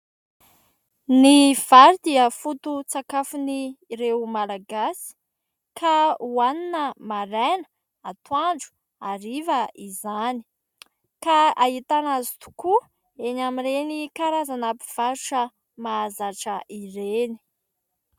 Ny vary dia fototsakafon'ireo malagasy ka ho hanina maraina, atoandro, hariva izany ka ahitana azy tokoa eny amin'ireny karazana mpivarotra mahazatra ireny.